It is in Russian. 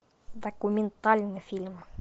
документальный фильм